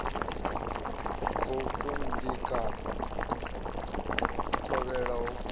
goukou ngei kapa vhukovhela ho